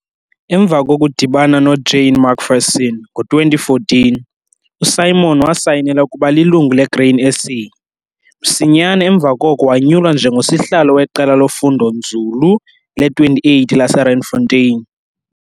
Emva kokudibana noJane McPherson ngo-2014, uSimon wasayinela ukuba lilungu leGrain SA. Msinyane emva koko wanyulwa njengosihlalo weQela loFundonzulu le-28 laseRandfontein.